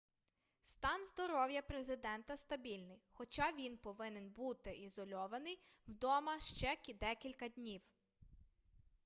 стан здоров'я президента стабільний хоча він повинен буди ізольований вдома ще декілька днів